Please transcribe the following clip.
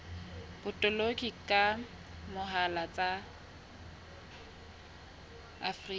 botoloki ka mohala tsa afrika